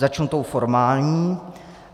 Začnu tou formální.